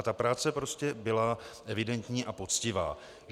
A ta práce prostě byla evidentní a poctivá.